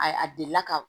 A a delila ka